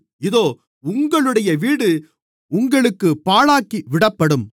இதோ உங்களுடைய வீடு உங்களுக்குப் பாழாக்கிவிடப்படும்